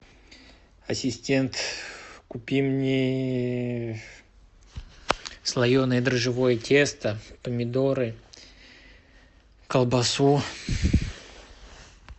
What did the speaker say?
ассистент купи мне слоеное дрожжевое тесто помидоры колбасу